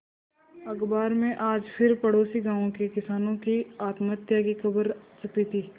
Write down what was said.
अखबार में आज फिर पड़ोसी गांवों के किसानों की आत्महत्या की खबर छपी थी